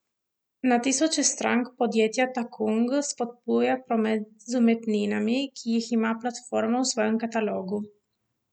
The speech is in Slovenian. Na tisoče strank podjetja Takung spodbuja promet z umetninami, ki jih ima platforma v svojem katalogu.